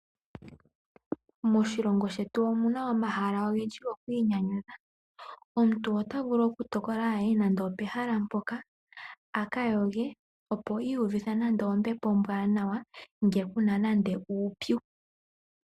Moshilongo shetu omuna omahala ogendji gokwiinyanyudha. Omuntu ota vulu okutokola a ye nande opehala mpoka a ka yoge opo i iyuvithe nande ombepo ombwaanawa ngele ku na uupyu.